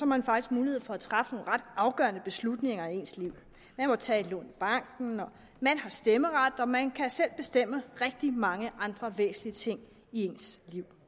man faktisk mulighed for at træffe nogle ret afgørende beslutninger i ens liv man må tage et lån i banken man har stemmeret og man kan selv bestemme rigtig mange andre væsentlige ting i ens liv